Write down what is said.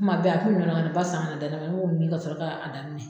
Kuma bɛɛ a kun bɛ nɔnɔ kɛnɛ ba san ka na da ne ma ne b'o min ka sɔrɔ ka a daminɛ.